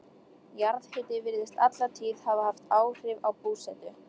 Jarðhiti virðist alla tíð hafa haft áhrif á búsetu.